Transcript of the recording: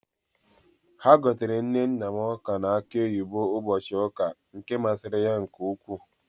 Ha gotere nne nna m ọ́ka na akụ oyibo ụbọchị ụka, nke masịrị ya nke ukwuu.